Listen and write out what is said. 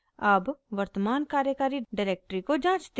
अब वर्तमान कार्यकारी डिरेक्टरी को जाँचते हैं